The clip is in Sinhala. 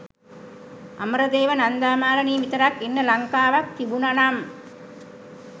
අමරදේව නන්දා මාලනී විතරක් ඉන්න ලංකාවක් තිබුනනම්